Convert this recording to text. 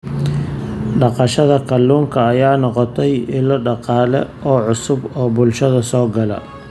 Dhaqashada kalluunka ayaa noqotay ilo dhaqaale oo cusub oo bulshada soo gala.